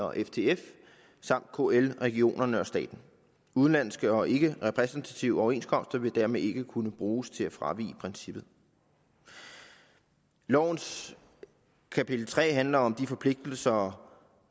og ftf samt kl regionerne og staten udenlandske og ikkerepræsentative overenskomster vil dermed ikke kunne bruges til at fravige princippet lovens kapitel tre handler om de forpligtelser